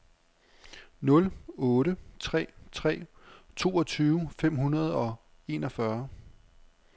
nul otte tre tre toogtyve fem hundrede og enogfyrre